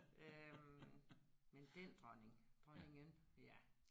Øh men den dronning dronningen ja